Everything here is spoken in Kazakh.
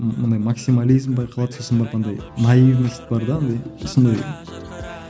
мынадай максимализм байқалады сосын барып андай наивность бар да андай сондай